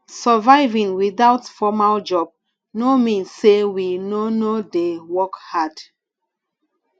surviving without formal job no mean sey we no no dey work hard